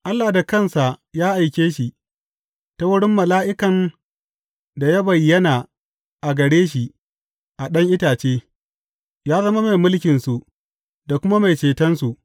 Allah da kansa ya aike shi, ta wurin mala’ikan da ya bayyana a gare shi a ɗan itace, yă zama mai mulkinsu, da kuma mai cetonsu.